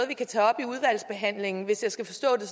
vi kan tage op i udvalgsbehandlingen hvis jeg skal forstå det